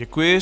Děkuji.